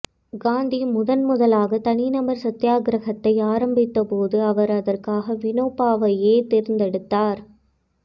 காந்தி முதன்முதலாக தனிநபர் சத்தியாக்கிரகத்தை ஆரம்பித்தபோது அவர் அதற்காக வினோபாவையே தேர்ந்தெடுத்தார்